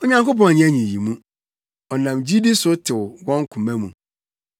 Onyankopɔn anyɛ nyiyimu; ɔnam gyidi so tew wɔn koma mu.